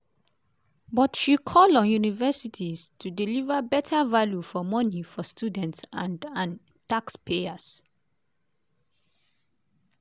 but she call on universities to "deliver better value for money for students and and taxpayers".